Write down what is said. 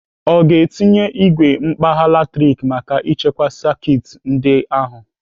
Ọ ga-etinye igwe mkpagha latrik maka ichekwa sekit ndị a ahụ?